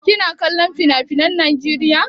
Kina kollon finafinan Najeriya?